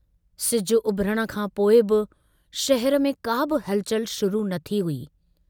सिज उभरण खां पोइ बि शहर में का बि हलचल शुरु न थी हुई।